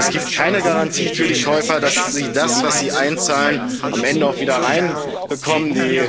Es gibt keine Garantie für die Käufer, dass sie das, was sie einzahlen, am Ende auch wieder herausbekommen.